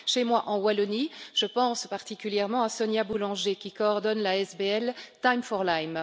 Chez moi, en Wallonie, je pense particulièrement à Sonia Boulanger, qui coordonne l'ASBL Time for Lyme.